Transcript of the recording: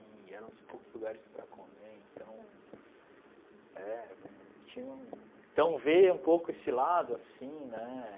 E era um dos poucos lugares para comer, então... É... Tinha um... Então vê um pouco esse lado, assim, né?